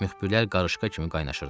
Müxbirlər qarışqa kimi qaynaşırdılar.